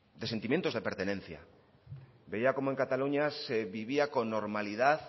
de sentimientos de pertenencia veía cómo en cataluña se vivían con normalidad